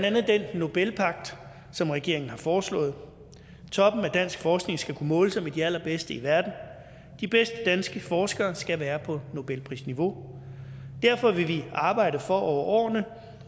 andet den nobelpagt som regeringen har foreslået toppen af dansk forskning skal kunne måle sig med de allerbedste i verden de bedste danske forskere skal være på nobelprisniveau derfor vil vi arbejde for over årene